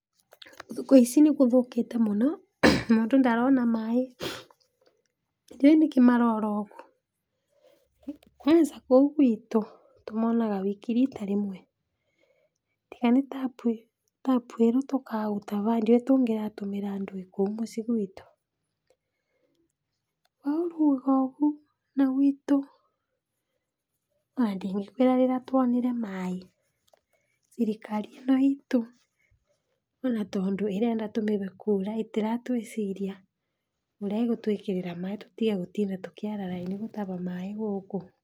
Thukũ ici nĩ gũthũkĩte mũno, mũndũ ndarona maĩ, ndiũĩ nĩkĩ marora ũgu, kwanza kũu gwitũ tũmonaga wiki rita rĩmwe. Tiga nĩ tabu ĩrĩa tũkaga tũtaba ĩ ndioĩ tungĩratũmĩra ndũĩ kũu mũcii gwitũ, weo ũgaga ũgu na gwitũ ona ndĩngĩkwĩra rĩrĩa twonire maĩ, thirikari ĩno itũ ona tondũ ĩrenda tũmĩhe kũra ĩ, ĩtĩratwĩciria ũrĩa ĩgũtwĩkĩra maĩ tũtige gũtinda tũkĩara raini gũtaba maĩ gũkũ.